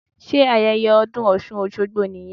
Sé ayẹyẹ ọdún osun osogbo nìyẹn?